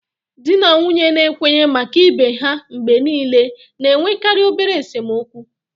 Di na nwunye na-ekwenye maka ibe ha mgbe niile na-enwekarị obere esemokwu